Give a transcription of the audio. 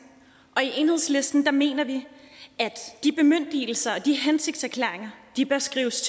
og i enhedslisten mener vi at de bemyndigelser og de hensigtserklæringer bør skrives